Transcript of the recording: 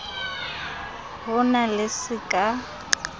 ho na le se ka